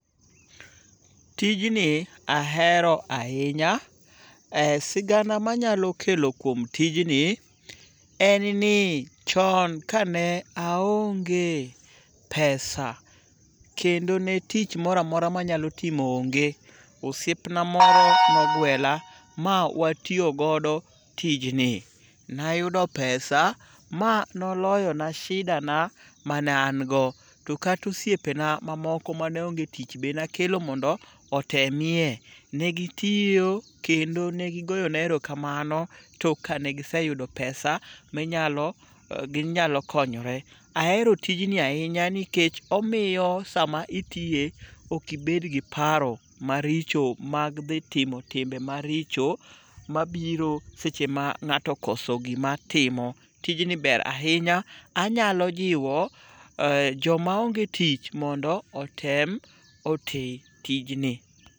Tijni ahero ahinya. Sigana manyalo kelo kuom tijni en ni chon kane aonge pesa kendo ne tich moro amora mananyalo timo onge, osiepna moro nogwela ma watiyogodo tijni. Nayudo pesa ma noloyona shidana ma naango, to kata osiepena mamoko ma ne onge tich be nakelo mondo otemie ne gitiyo kendo ne gigoyona erokamano tok kane giseyudo pesa ma ginyalokonyore. Ahero tijni ahinya nikech omiyo sama itiye ok ibedgi paro maricho mag dhi timo timbe maricho mabiro seche ma ng'ato okoso gima timo. Tijni ber ahinya, anyalo jiwo jomaonge tich mondo otem oti tijni.